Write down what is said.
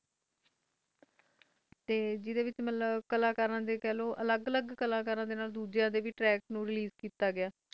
ਜਿਸ ਵਿਚ ਅਲੱਗ ਅਲੱਗ ਕਲਾ ਕਰ ਡੇ ਟ੍ਰੈਕਸ ਨੂੰ ਵੀ ਰੇਲੀਸੇ ਕੀਤਾ ਗਿਆ